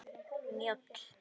Njáll